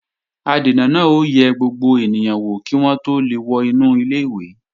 Adènà náà ó yẹ gbogbo ènìyàn wò kí wọ́n tó lè wọ inú ilé-ìwé